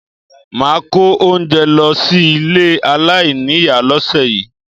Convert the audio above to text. Máà kó oúnjẹ lọ sí ilé aláìníìyá lọ́sẹ̀ yìí